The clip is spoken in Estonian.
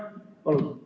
Palun!